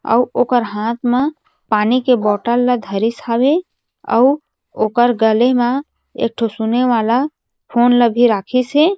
अउ ओकर हाथ मा पानी के बोतल धारिस हावे अउ ओकर गले मा एक ठो सुने वाला फोन ल भी राखिस हे।